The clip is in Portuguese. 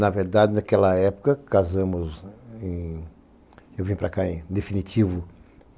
Na verdade, naquela época, casamos em... Eu vim para cá em definitivo.